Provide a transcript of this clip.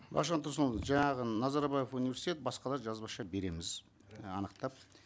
мағжан тұрсынұлы жаңағы назарбаев университет басқалар жазбаша береміз анықтап